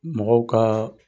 Mɔgɔw kaa